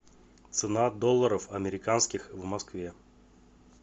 цена долларов американских в москве